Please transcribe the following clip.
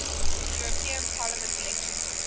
european parliament elections